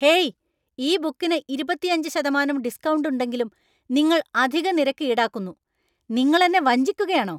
Hey! ഈ ബുക്കിന് ഇരുപത്തിയഞ്ച് ശതമാനം ഡിസ്‌ക്കൗണ്ട് ഉണ്ടെങ്കിലും നിങ്ങൾ അധിക നിരക്ക് ഈടാക്കുന്നു. നിങ്ങൾ എന്നെ വഞ്ചിക്കുകയാണോ?